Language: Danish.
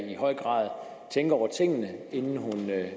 i høj grad tænker over tingene inden hun